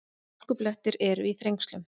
Hálkublettir eru í Þrengslum